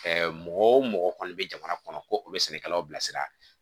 mɔgɔ o mɔgɔ kɔni bɛ jamana kɔnɔ ko u bɛ sɛnɛkɛlaw bilasira